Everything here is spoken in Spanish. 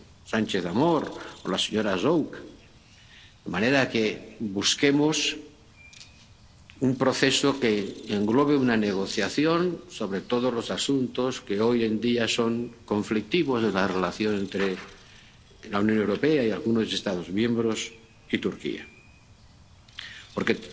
—Sánchez Amor, la señora Zovko—, de que busquemos un proceso que englobe una negociación sobre todos los asuntos que hoy en día son conflictivos en la relación entre la Unión Europea y algunos Estados miembros y Turquía, porque